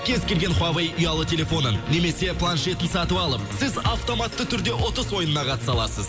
кез келген хуавей ұялы телефонын немесе планшетін сатып алып сіз автоматты түрде ұтыс ойынына қатыса аласыз